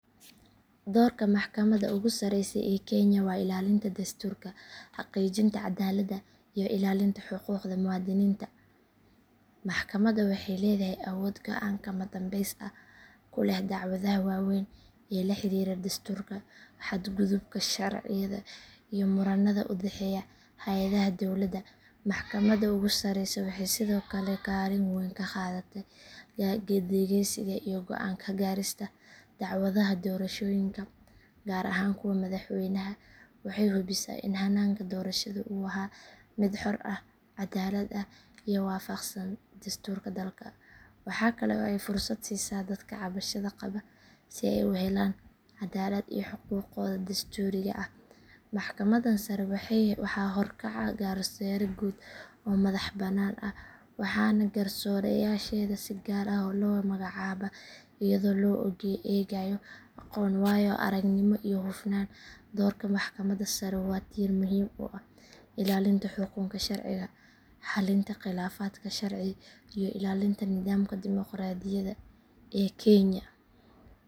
Doorka maxkamadda ugu sareysa ee kenya waa ilaalinta dastuurka, xaqiijinta cadaaladda iyo ilaalinta xuquuqda muwaadiniinta. Maxkamaddan waxay leedahay awood go’aan kama dambeys ah ku leh dacwadaha waaweyn ee la xiriira dastuurka, xadgudubka sharciyada, iyo murannada u dhexeeya hay’adaha dowladda. Maxkamadda ugu sareysa waxay sidoo kale kaalin weyn ka qaadataa dhageysiga iyo go’aan ka gaarista dacwadaha doorashooyinka gaar ahaan kuwa madaxweynaha. Waxay hubisaa in hannaanka doorashada uu ahaa mid xor ah, caddaalad ah, iyo waafaqsan dastuurka dalka. Waxaa kale oo ay fursad siisaa dadka cabashada qaba si ay u helaan cadaalad iyo xuquuqdooda dastuuriga ah. Maxkamaddan sare waxaa horkaca garsoore guud oo madax bannaan ah waxaana garsoorayaasheeda si gaar ah loo magacaabaa iyadoo loo eegayo aqoon, waayo aragnimo iyo hufnaan. Doorka maxkamadda sare waa tiir muhiim u ah ilaalinta xukunka sharciga, xallinta khilaafaadka sharci iyo ilaalinta nidaamka dimoqraadiyadda ee kenya.